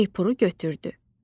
Şeypuru götürdü.